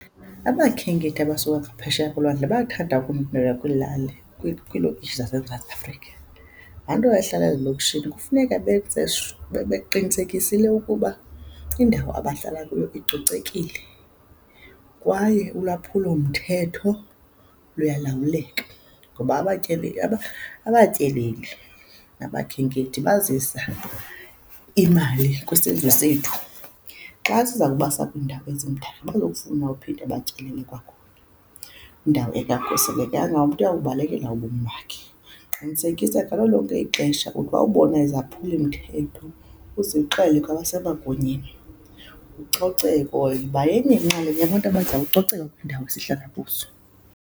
Abakhenkethi abasuka ngaphesheya kolwandle bayathanda ukumbheka kwilali, kwiilokishi zaseMzantsi Afrika. Laa nto wayehlala ezilokishini kufuneka beqinisekisile ukuba indawo abahlala kuyo icocekile kwaye ulwaphulomthetho luyalawuleka ngoba abatyeleli nabakhenkethi bazisa imali kwisizwe sethu. Xa siza kubasa kwiindawo ezimdaka abazofuna uphinde batyelele kwakhona, kwindawo . Umntu uyawubalekela ubomi bakhe. Qinisekisa ngalo lonke ixesha uthi bawubona izaphuli mthetho uzixele kwabasemagunyeni. Ucoceko, yiba yenye inxalenye yabantu abazawucoceka kwiindawo esihlala kuzo.